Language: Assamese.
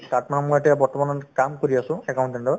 তাত মানে মই এতিয়া বৰ্তমান কাম কৰি আছো accountant ৰ